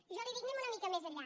jo li dic anem una mica més enllà